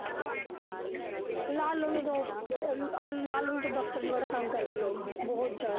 ਲਾਲੋ ਨੂੰ ਤਾਂ ਆਫ਼ ਬ ਅਹ ਲਾਲੋ ਨੂੰ ਤਾਂ ਦਫ਼ਤਰ ਚ ਬੜਾ ਤੰਗ ਕਰਦੇ ਲੋਕ ਬਹੁਤ ਜ਼ਿਆਦਾ।